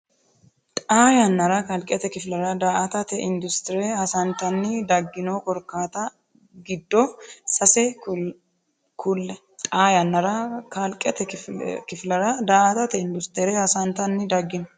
Xaa yannara kalqete kifillara daa”atate industire hasantanni daggino korkaatta giddo sase kulle Xaa yannara kalqete kifillara daa”atate industire hasantanni daggino.